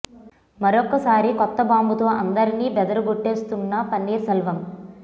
మరొక్కసారి కొత్త బాంబు తో అందరినీ బెదర గొట్టేస్తున్నారు పన్నీర్ సెల్వం